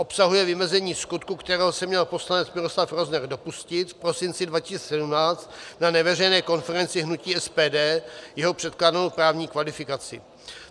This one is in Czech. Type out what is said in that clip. Obsahuje vymezení skutku, kterého se měl poslanec Miloslav Rozner dopustit v prosinci 2017 na neveřejné konferenci hnutí SPD, jeho předkládanou právní kvalifikaci.